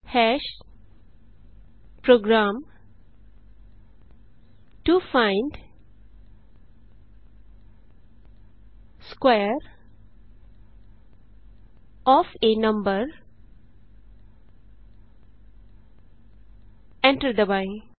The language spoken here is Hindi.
program to find square of a number enter दबाएँ